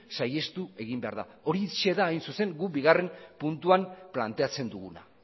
saihestu egin behar da horixe da hain zuzen guk bigarren puntuan planteatzen duguna